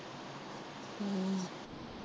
ਹਮ